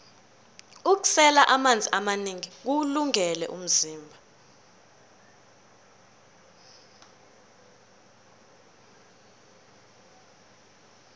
ukusela amanzi amanengi kuwulungele umzimba